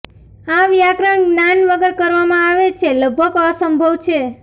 આ વ્યાકરણ જ્ઞાન વગર કરવામાં આવે છે લગભગ અસંભવ છે